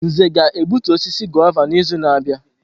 Nze ga-egbutu osisi guava n'izu na-abịa.